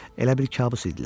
Elə bil kabus idilər.